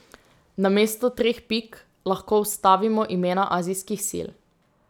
Namesto treh pik lahko vstavimo imena azijskih sil.